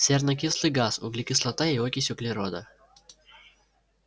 сернокислый газ углекислота и окись углерода